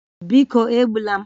Biko egbula m